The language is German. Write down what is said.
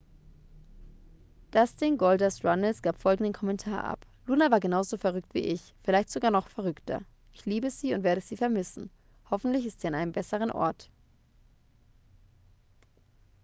dustin goldust runnels gab folgenden kommentar ab: luna war genauso verrückt wie ich ... vielleicht sogar noch verrückter ... ich liebe sie und werde sie vermissen ... hoffentlich ist sie an einem besseren ort.